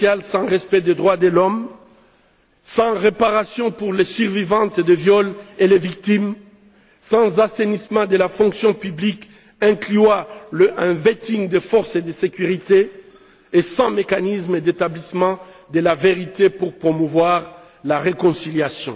sans réparation pour les survivantes de viols et les victimes, sans assainissement de la fonction publique incluant un vetting des forces de sécurité et sans mécanisme d'établissement de la vérité pour promouvoir la réconciliation.